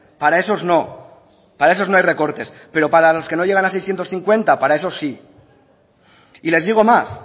para esos no para esos no hay recortes pero para los que no llegan a seiscientos cincuenta para esos sí y les digo más